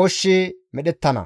ooshshi medhettana.